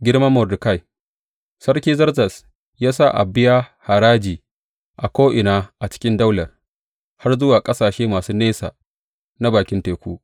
Girman Mordekai Sarki Zerzes ya sa a biya haraji a ko’ina a cikin daular, har zuwa ƙasashe masu nesa na bakin teku.